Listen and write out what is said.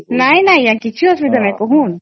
ନାଇଁ ନାଇଁ ଆଂଜ୍ଞା କିଛି ଅସୁବିଧା ନାହିଁ କହୁନ